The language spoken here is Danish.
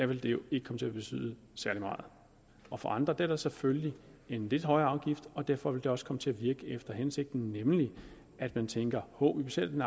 vil det jo ikke komme til at betyde særlig meget og for andre er der selvfølgelig en lidt højere afgift og derfor vil det også komme til at virke efter hensigten nemlig at man tænker hov vi betaler den